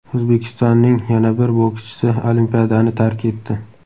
O‘zbekistonning yana bir bokschisi Olimpiadani tark etdi.